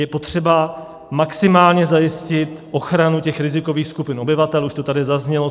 Je potřeba maximálně zajistit ochranu těch rizikových skupin obyvatel, už to tady zaznělo.